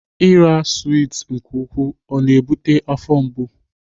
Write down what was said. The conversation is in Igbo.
Ira swit nke ukwuu ọ na-ebute afọ mgbu?